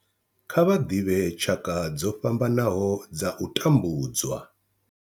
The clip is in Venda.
Kha vha ḓivhe tshaka dzo fhambanaho dza u tambudzwa.